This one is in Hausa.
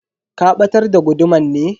Ka batar da guduman ne?